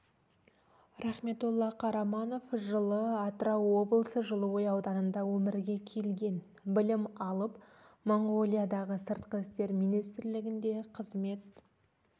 рахметолла қараманов жылы атырау облысы жылыой ауданында өмірге келген білім алып монғолиядағы сыртқы істер министрлігінде қызмет